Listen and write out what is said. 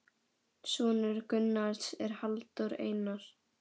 Sonur Gunnars er Halldór Einar.